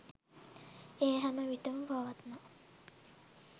එය හැම විටම පවත්නා